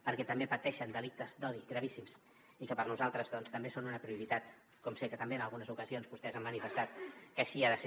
perquè també pateixen delictes d’odi gravíssims i que per nosaltres també són una prioritat com sé que també en algunes ocasions vostès han manifestat que així ha de ser